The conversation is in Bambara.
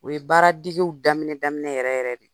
O ye baaradegew daminɛ-daminɛ yɛrɛ-yɛrɛ de ye.